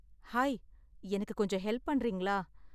Hi, எனக்கு கொஞ்சம் help பண்றீங்களா?